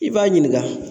I b'a ɲininka